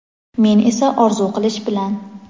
men esa orzu qilish bilan.